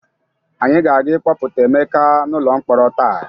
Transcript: Anyị ga-aga ịkpọpụta Emeka n'ụlọ mkpọrọ taa.